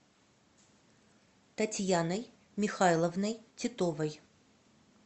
татьяной михайловной титовой